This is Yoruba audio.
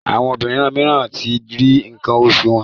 Àwọn obìrin míràn tí rí nkan osu wón.